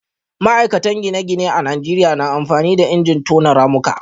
ma'aikatan gine-gine a Najeriya na amfani da injin tono ramuka